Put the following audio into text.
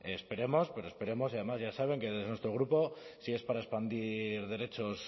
esperemos pero esperemos y además ya saben que desde nuestro grupo si es para expandir derechos